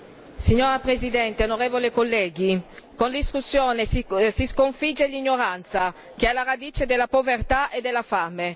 Signora Presidente, onorevoli colleghi, con la discussione si sconfigge l'ignoranza che è alla radice della povertà e della fame.